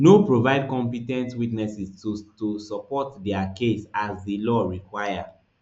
no provide compe ten t witnesses to to support dia case as di law require